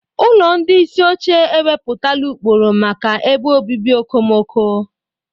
Ụlọ ndị isi oche ewepụtala ụkpụrụ maka ebe obibi okomoko.